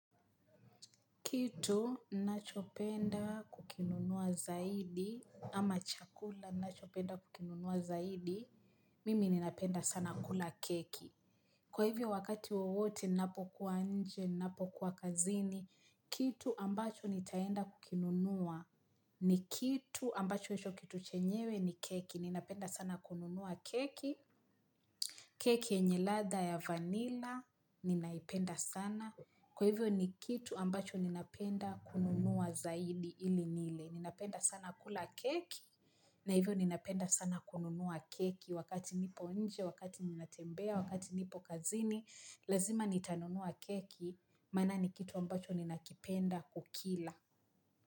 Kitu, nachopenda kukinunua zaidi, ama chakula, nachopenda kukinunua zaidi, mimi ninapenda sana kula keki. Kwa hivyo wakati wowote, ninapokuwa nje, napokuwa kazini, kitu ambacho nitaenda kukinunua, ni kitu ambacho hicho kitu chenyewe ni keki, ninapenda sana kununua keki. Keki yenye ladha ya vanilla ninaipenda sana. Kwa hivyo ni kitu ambacho ninapenda kununua zaidi ili nile. Ninapenda sana kula keki na hivyo ninapenda sana kununua keki. Wakati nipo nje, wakati ninatembea, wakati nipo kazini, lazima nitanunua keki. Mana ni kitu ambacho ninakipenda kukila.